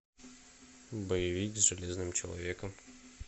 боевик с железным человеком